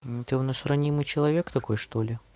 ты у нас ранимый человек такой что-ли